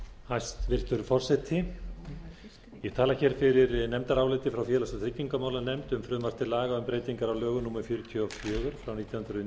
hæstvirtur forseti ég tala hér fyrir nefndaráliti frá félags og tryggingamálanefnd um frumvarp til laga um breytingar á lögum númer fjörutíu og fjögur nítján hundruð níutíu og átta